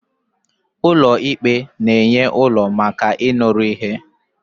ụlọ ikpe na-enye ụlọ maka ịnụrụ ihe